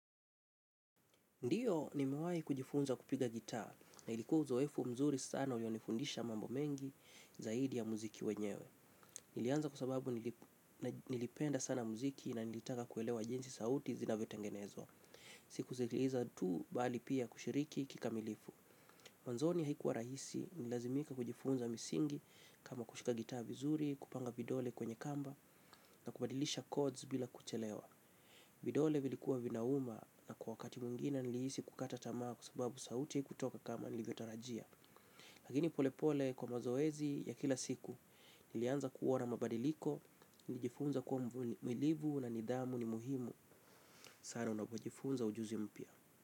Ndiyo nimewahi kujifunza kupiga gitaa na ilikuwa uzoefu mzuri sana ulinifundisha mambo mengi zaidi ya muziki wenyewe. Nilianza kwa sababu nilipenda sana muziki na nilitaka kuelewa jinsi sauti zinavyotengenezwa. Si kusikiliza tu bali pia kushiriki kika milifu. Mwanzoni haikuwa rahisi nililazimika kujifunza misingi kama kushika gitaa vizuri, kupanga vidole kwenye kamba na kubadilisha chords bila kuchelewa. Vidole vilikuwa vinauma na kwa wakati mwingine nilihisi kukata tamaa kwa sababu sauti haikutoka kama nilivyotarajia. Lakini polepole kwa mazoezi ya kila siku. Nilianza kuona mabadiliko. Nilijifunza kuwa mvumilivu na nidhamu ni muhimu sana unapojifunza ujuzi mpia.